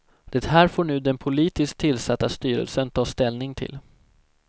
Det här får nu den politiskt tillsatta styrelsen ta ställning till.